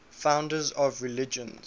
founders of religions